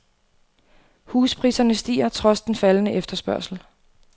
Huspriserne stiger trods den faldende efterspørgsel.